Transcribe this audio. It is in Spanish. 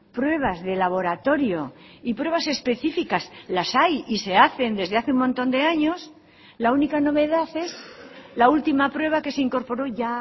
pruebas de laboratorio y pruebas específicas las hay y se hacen desde hace un montón de años la única novedad es la última prueba que se incorporó ya